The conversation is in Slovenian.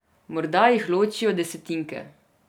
Morda jih ločijo desetinke.